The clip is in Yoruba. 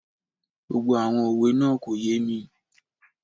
Gbogbo àwọn òwe náà kò yé mi